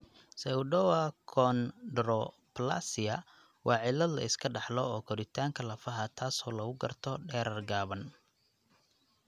Pseudoachondroplasia waa cillad la iska dhaxlo oo koritaanka lafaha taasoo lagu garto dherer gaaban.